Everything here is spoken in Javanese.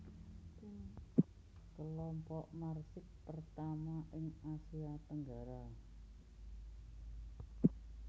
Kelompok Marsix pertama ing Asia Tenggara